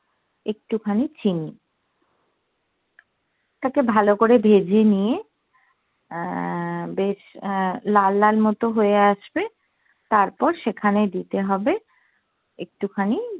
একটু খানি চিনি তাতে ভালো করে ভেজে নিয়ে আহ বেশ আহ লাল লাল মতো হয়ে আসবে তারপর সেখানে দিতে হবে একটু খানি